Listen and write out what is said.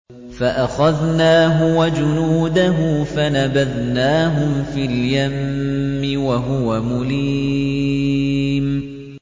فَأَخَذْنَاهُ وَجُنُودَهُ فَنَبَذْنَاهُمْ فِي الْيَمِّ وَهُوَ مُلِيمٌ